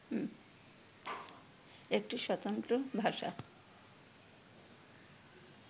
একটি স্বতন্ত্র ভাষা